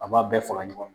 A b'a bɛɛ fara ɲɔgɔn kan